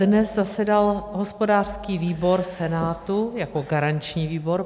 Dnes zasedal hospodářský výbor Senátu jako garanční výbor.